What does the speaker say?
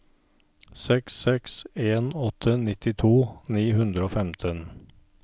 seks seks en åtte nittito ni hundre og femten